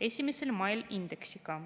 1. mail indeksiga.